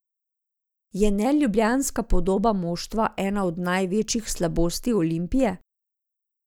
Je neljubljanska podoba moštva ena od največjih slabosti Olimpije?